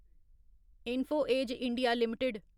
info Edge India limited